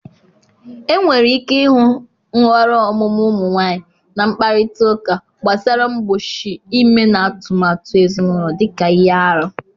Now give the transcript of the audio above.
Enwere ike ịhụ nhọrọ ọmụmụ ụmụ nwanyị na mkparịta ụka gbasara mgbochi ime na atụmatụ ezinaụlọ dị ka ihe arụ.